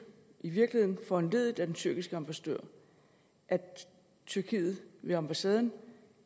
i virkeligheden foranlediget af den tyrkiske ambassadør at tyrkiet ved ambassaden